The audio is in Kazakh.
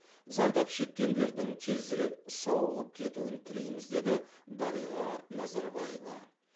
зардап шеккендердің тезірек сауығып кетуін тілейміз деді дариға назарбаева